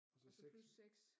Og så 6